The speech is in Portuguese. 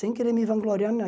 Sem querer me vangloriar